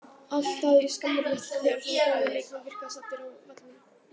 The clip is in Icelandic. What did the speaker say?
Allt að því skammarlegt þegar svona góðir leikmenn virka saddir á vellinum.